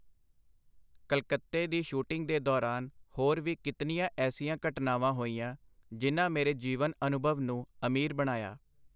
ਕਲਕੱਤੇ ਦੀ ਸ਼ੂਟਿੰਗ ਦੇ ਦੌਰਾਨ ਹੋਰ ਵੀ ਕਿਤਨੀਆਂ ਐਸੀਆਂ ਘਟਨਾਵਾਂ ਹੋਈਆਂ, ਜਿਨ੍ਹਾਂ ਮੇਰੇ ਜੀਵਨ-ਅਨੁਭਵ ਨੂੰ ਅਮੀਰ ਬਣਾਇਆ!.